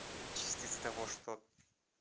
частица того что